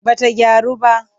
Ba ta gyaru ba.